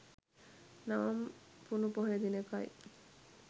නවම් පුනු පොහොය දිනකයි.